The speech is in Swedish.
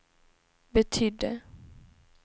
betydde